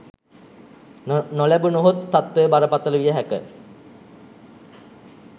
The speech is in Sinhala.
නොලැබුණහොත් තත්වය බරපතල විය හැක